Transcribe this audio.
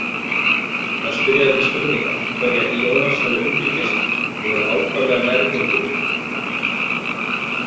Þar spyrja þeir mig spurninga, hverja Ionas hafi umgengist, og eru ákaflega nærgöngulir.